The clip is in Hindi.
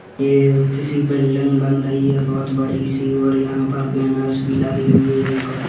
ये किसी बिल्डिंग बन रही है बहुत बड़ी -सी और यहाँ पर बैनर्स भी लगे हुए है कुछ --